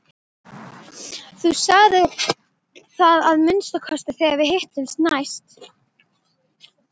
Þú sagðir það að minnsta kosti þegar við hittumst næst.